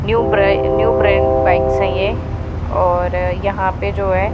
New bra new brand bikes आई है ये और यहां पे जो है।